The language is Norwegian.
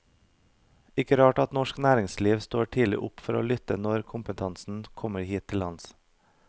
Ikke rart at norsk næringsliv står tidlig opp for å lytte når kompetansen kommer hit til lands.